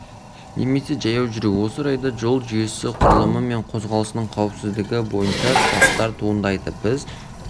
немесе жаяу жүру осы орайда жол жүйесі құрылымы мен қозғалысының қауіпсіздігі бойынша сұрақтар туындайды біз